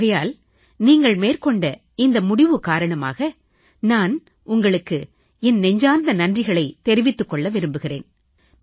ஆகையால் நீங்கள் மேற்கொண்ட இந்த முடிவு காரணமாக நான் உங்களுக்கு என் நெஞ்சார்ந்த நன்றிகளைத் தெரிவித்துக் கொள்ள விரும்புகிறேன்